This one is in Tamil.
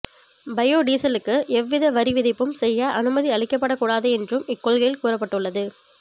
பயோடீசலுக்கு எவ்வித வரி விதிப்பும் செய்ய அனுமதி அளிக்கப் படக்கூடாது என்றும் இக்கொள்கையில் கூறப்பட்டுள்ளது